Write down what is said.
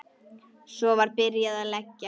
Svo var byrjað að leggja.